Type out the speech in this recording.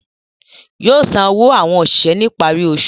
Yóò san owó àwọn òṣìṣẹ́ ní ìparí oṣù